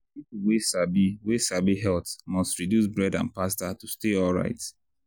people wey sabi wey sabi health must reduce bread and pasta to dey alright.